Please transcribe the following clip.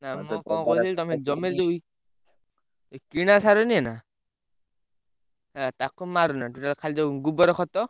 ନା ବା, ମୁଁ କଣ କହୁଥିଲି? ତମେ ଜମିରେ ଯୋଉ କିଣା ସାର ନୁହେନା ହେଲା ତାକୁ ମାରନା total ଖାଲି ଯୋଉ ଗୋବର ଖତ।